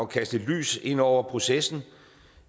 kaste et lys ind over processen